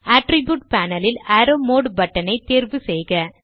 attribute panel ல் arrow mode button ஐத் தேர்வு செய்க